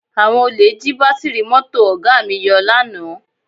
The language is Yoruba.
Àwọn olè jí bátíìrì mọ́tò Ọ̀ga mi yọ lánàá